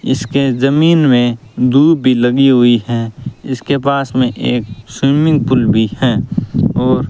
इसके जमीन मे दूब भी लगी हुई हैं इसके पास मे एक स्विमिंग पूल भी है और --